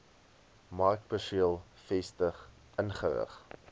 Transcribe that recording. markperseel vestig inrig